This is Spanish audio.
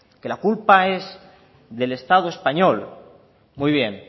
que la culpa es del estado español muy bien